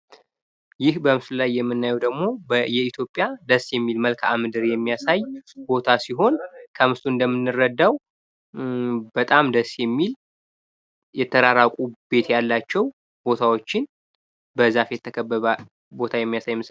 ይህ በምስሉ ላይ የምናየው ደግሞ የኢትዮጵያ ደስ የሚል መልክዓ ምድር የሚያሳይ ቦታ ሲሆን ከምስሉ እንደምንረዳው በጣም ደስ የሚል የተራራቁ ቤት ያላቸው ቦታወችን በዛፍ የተከበበ ቦታ የሚያሳይ ምስል ነው።